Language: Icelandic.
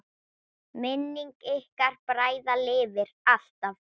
Minning ykkar bræðra lifir alltaf!